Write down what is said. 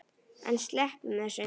En sleppum þessu!